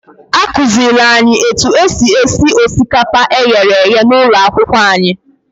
Akụziiri anyị otu esi esi osikapa e ghere eghe n'ụlọ akwụkwọ anyị.